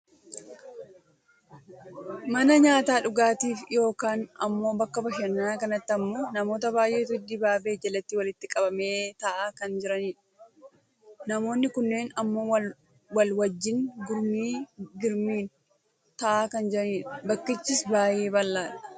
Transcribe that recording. Mana nyaataaf dhugaatii yookaan ammoo bakka bashananaa kanatti ammoo namoota baayyeetu dibaabee jalatti walitti qabamee taa'aa kan jiranidha. Namoonni kunneen ammoo wal wajjiin gurmii girmiin taa'aa kan jiranidha. Bakkichis baayyee bal'aadha.